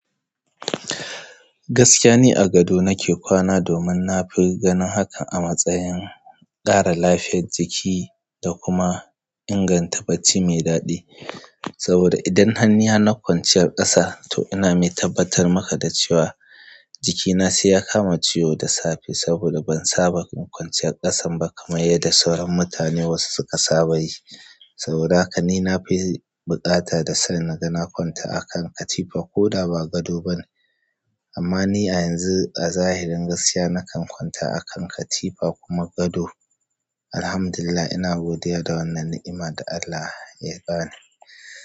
Gaskiya ni a gado nake kwana domin na fi ganin haka a matsayin ƙara lafiyar jiki da kuma inganta bacci mai daɗi. Saboda idan hanniya na kwanciyar ƙasa, to ina mai tabbatar maka da cewa jikina sai ya kama ciwo da safe saboda ban saba da kwanciyar ƙasan ba kamar yadda sauran mutane wasu suka saba yi. Saboda haka ni na fi buƙata da son naga na kwanta a kan katifan ko da ba gado ba. Amma ni a yanzu a zahirin gaskiya nakan kwanta a kan katifa kuma gado. Alhamdulillah ina godiya da wannan ni'ima da Allah ya ba ni.